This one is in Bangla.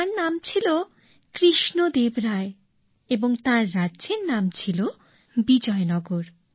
তাঁর নাম ছিল কৃষ্ণদেব রায় এবং তাঁর রাজ্যের নাম ছিল বিজয়নগর